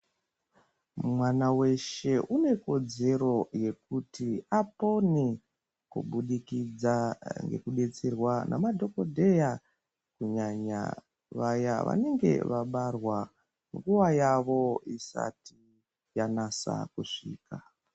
Mwana weshe unekodzero yekuti apone kubudikidza ngekudetserwa namadhokodheya kunyanya vaya vanenge vabarwa nguva yavo isati yanasa kusvika.